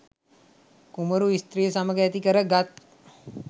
කුමරු ස්ත්‍රිය සමග ඇති කර ගත්